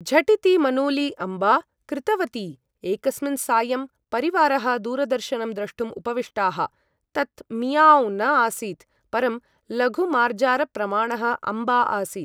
झटिति, मनूली अम्बा! कृतवती। एकस्मिन् सायं, परिवारः दूरदर्शनं द्रष्टुं उपविष्टाः। तत् मियाव्ँ न आसीत्। परं लघु मार्जारप्रमाणः अम्बा आसीत्।